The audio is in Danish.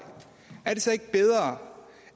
er det så ikke bedre